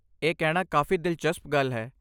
ਇਹ ਕਹਿਣਾ ਕਾਫ਼ੀ ਦਿਲਚਸਪ ਗੱਲ ਹੈ।